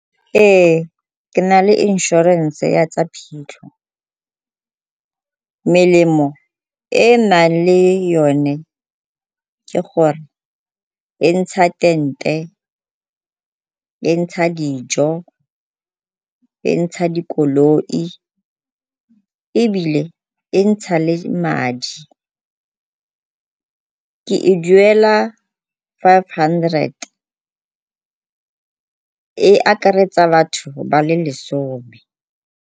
Ee, ke na le inšorense ya tsa phitlho. Melemo e e nang le yone ke gore e ntsha tente, e ntsha dijo, e ntsha dikoloi ebile e ntsha le madi. Ke e duela five hundred, e akaretsa batho ba le lesome.